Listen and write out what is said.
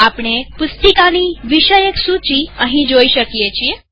આપણે પુસ્તિકાની વિષયક સૂચી અહીં જોઈ શીકીએ છીએ